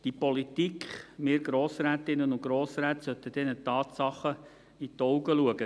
Die Politik – wir Grossrätinnen und Grossräte – sollte diesen Tatsachen in die Augen schauen.